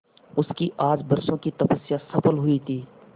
उसकी आज बरसों की तपस्या सफल हुई थी